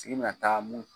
Sigi na taa mun